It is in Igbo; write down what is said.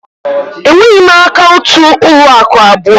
Enweghị m akaụntụ ụlọ akụ abụọ